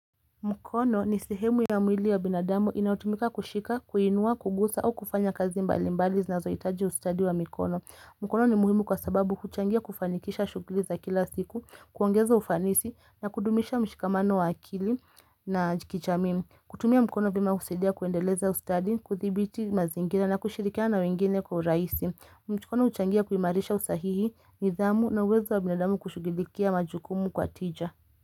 Mkono ni sihemu ya mwili ya binadamu inaotumika kushika, kuinua, kugusa au kufanya kazi mbali mbali na zoitaji ustadi wa mikono. Mkono ni muhimu kwa sababu huchangia kufanikisha shukuliza kila siku, kuongeza ufanisi na kudumisha mshikamano wa akili na kijamii. Kutumia mkono vyema husaidia kuendeleza ustadi, kuthibiti mazingira na kushirikiana wengine kwa urahisi. Mkono huchangia kuimarisha usahihi, nidhamu na uwezo wa binadamu kushugilikia majukumu kwa tija.